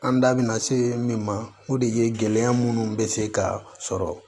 An da bina se min ma o de ye gɛlɛya munnu be se ka sɔrɔ